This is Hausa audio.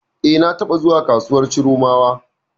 E, na taɓa zuwa kasuwar Chiromawa.